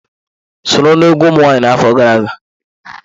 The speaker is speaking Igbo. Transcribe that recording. Sọrọ na-egwu ụmụ nwaanyị afọ gara aga.